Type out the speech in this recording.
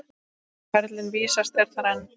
Karlinn vísast er þar enn.